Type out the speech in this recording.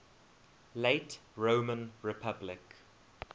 late roman republic